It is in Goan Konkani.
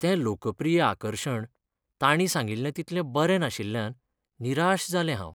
तें लोकप्रिय आकर्शण तांणी सांगिल्लें तितलें बरें नाशिल्ल्यान निराश जाल्लें हांव.